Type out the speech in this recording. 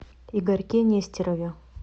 игорьке нестерове